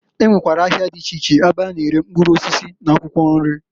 E nwekwara ahịa dị iche iche ebe a na-ere mkpụrụ osisi n'akwụkwọ nri.